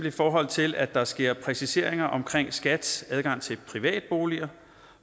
i forhold til at der sker præciseringer omkring skats adgang til privatboliger